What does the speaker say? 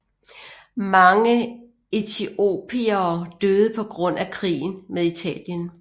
Mange etiopiere døde på grund af krigen med Italien